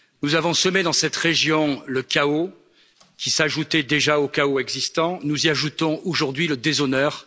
Nous avons semé dans cette région le chaos, qui s'ajoutait au chaos déjà existant, nous y ajoutons aujourd'hui le déshonneur.